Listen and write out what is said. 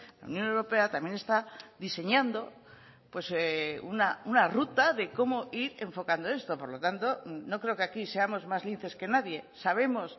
la unión europea también está diseñando una ruta de cómo ir enfocando esto por lo tanto no creo que aquí seamos más linces que nadie sabemos